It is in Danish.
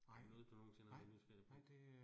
Er det noget, du nogensinde har været nysgerrig på?